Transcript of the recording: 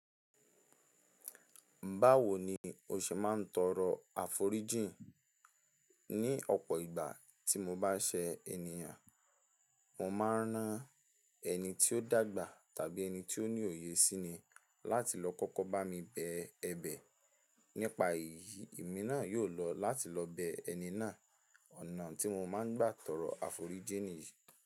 Báwo ni o ṣe máa ń tọrọ àforíjìn? Ní ọ̀pọ̀ ìgbà tí mo bá ṣe ènìyàn, mo máa ń rán ẹni tí ó dàgbà tàbí ẹni tí ó ní òye sí ni láti lọ kọ́kọ́ bá mi bẹ ẹ̀bẹ̀ nípa èyí. Ìmi náà yóò lọ láti lọ bẹ ẹni náà ọ̀nà tí mo máa ń gbà tọrọ àforíjìn yìí.